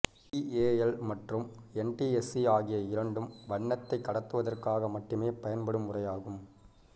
PAL மற்றும் NTSC ஆகிய இரண்டும் வண்ணத்தைக் கடத்துவதற்காக மட்டுமே பயன்படும் முறையாகும்